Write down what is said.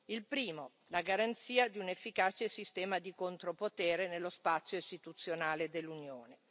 Il primo la garanzia di un efficace sistema di contropotere nello spazio istituzionale dell'Unione.